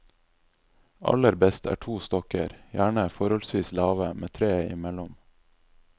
Aller best er to stokker, gjerne forholdsvis lave, med treet imellom.